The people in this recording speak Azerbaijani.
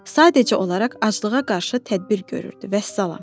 Sadəcə olaraq aclığa qarşı tədbir görürdü, vəssalam.